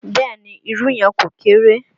Bẹ́ẹ̀ ni, irú yẹn kò kéré.